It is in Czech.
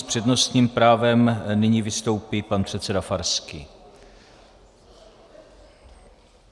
S přednostním právem nyní vystoupí pan předseda Farský.